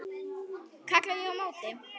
kalla ég á móti.